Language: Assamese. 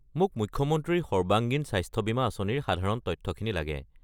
মোক মুখ্যমন্ত্ৰীৰ সৰ্বাংগীন স্বাস্থ্য বীমা আঁচনিৰ সাধাৰণ তথ্যখিনি লাগে।